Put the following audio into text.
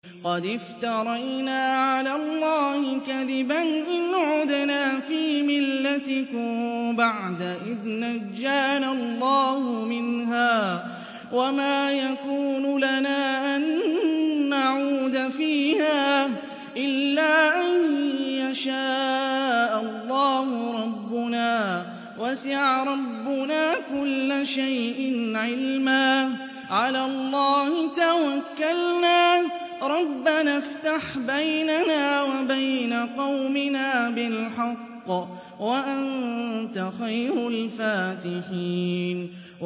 قَدِ افْتَرَيْنَا عَلَى اللَّهِ كَذِبًا إِنْ عُدْنَا فِي مِلَّتِكُم بَعْدَ إِذْ نَجَّانَا اللَّهُ مِنْهَا ۚ وَمَا يَكُونُ لَنَا أَن نَّعُودَ فِيهَا إِلَّا أَن يَشَاءَ اللَّهُ رَبُّنَا ۚ وَسِعَ رَبُّنَا كُلَّ شَيْءٍ عِلْمًا ۚ عَلَى اللَّهِ تَوَكَّلْنَا ۚ رَبَّنَا افْتَحْ بَيْنَنَا وَبَيْنَ قَوْمِنَا بِالْحَقِّ وَأَنتَ خَيْرُ الْفَاتِحِينَ